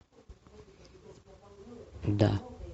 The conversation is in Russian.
да